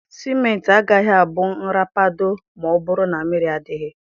Simenti agaghị abụ nrapado ma ọ bụrụ na mmiri adịghị